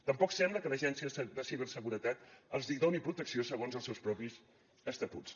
tampoc sembla que l’agència de ciberseguretat els hi doni protecció segons els seus propis estatuts